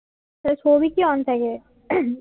সে সৌভিকই অন থাকে উহ